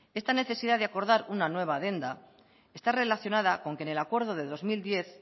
esta necesidad de acordar una nueva adenda está relacionada con que en el acuerdo de dos mil diez